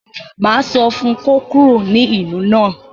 Máa sọ fún un kó kúrò ní ìlú náà.